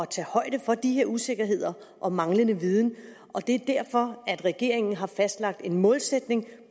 tage højde for de her usikkerheder og manglende viden og det er derfor at regeringen har fastlagt en målsætning